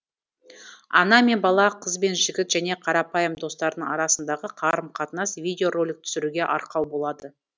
ана мен бала қыз бен жігіт және қарапайым достардың арасындағы қарым қатынас видео ролик түсіруге арқау болады